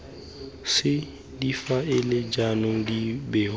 c difaele jaanong di bewa